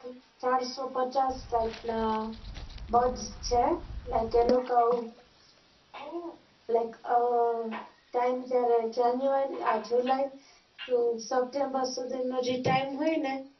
ચાર સો પચચાસ ફૂટ ના બૌધ છે લાયક એ લોકો આવું લાય્ક અર તાય્મ january july થી september નું જે તાય્મ હોય ને